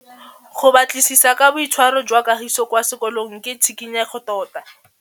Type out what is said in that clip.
Go batlisisa ka boitshwaro jwa Kagiso kwa sekolong ke tshikinyêgô tota.